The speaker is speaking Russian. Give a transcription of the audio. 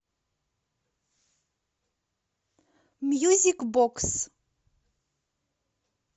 мьюзик бокс